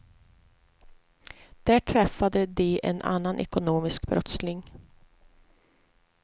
Där träffade de en annan ekonomisk brottsling.